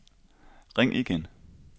ring igen